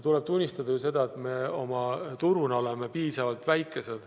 Tuleb tunnistada, et me turuna oleme piisavalt väikesed.